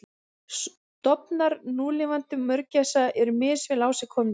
Stofnar núlifandi mörgæsa eru misvel á sig komnir.